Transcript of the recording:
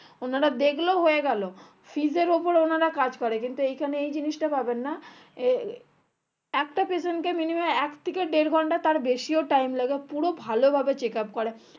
ওনারা দেখলো হয়ে গেলো fees এর ওপর ওনারা কাজ করে কিন্তু এই খানে এই জিনিসটা পাবেননা এ একটা patient কে minimum এক থেকে দেড় ঘন্টা তার বেশিও time লাগে পুরো ভালো ভাবে checkup করে